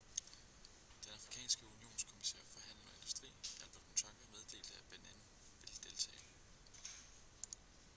den afrikanske unionskommissær for handel og industri albert muchanga meddelte at benin ville deltage